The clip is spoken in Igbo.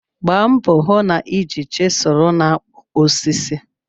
Gbaa mbọ hụ na ị ji chiselu n'ikpụ osisi.